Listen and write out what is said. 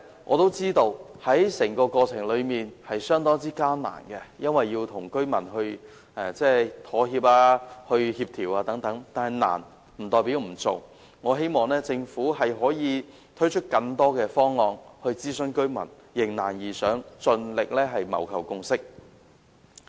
我也知道整個過程會相當艱難，因為要與居民妥協、協調等，但困難不代表不做，我希望政府可以推出更多方案諮詢居民，迎難而上，盡力謀求共識。